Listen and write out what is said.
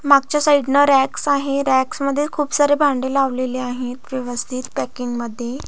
मागच्या साईड न रॅक्स आहे रॅक्स मध्ये खुप सारे भांडे लावलेले आहेत व्यवस्थित पॅकिंग मध्ये.